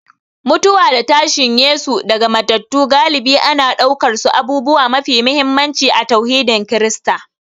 Mutuwa da tashin Yesu daga matattu galibi ana ɗaukarsu abubuwa mafi muhimmanci a tauhidin Kirista